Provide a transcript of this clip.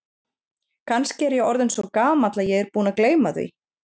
Kannski er ég orðinn svo gamall að ég er búinn að gleyma því.